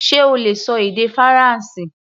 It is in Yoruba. Ṣe o lè ṣọ èdè Faransé?